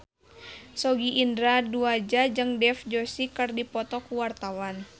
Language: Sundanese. Sogi Indra Duaja jeung Dev Joshi keur dipoto ku wartawan